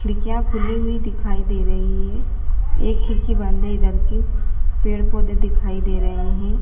खिड़कियां खुली हुई दिखाई दे रही है एक खिड़की बंद है इधर की पेड़ पौधे दिखाई दे रहे हैं।